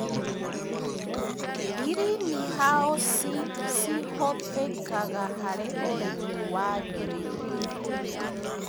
Greenhousi cihũthĩkaga harĩ ũrĩmi wa ngirini.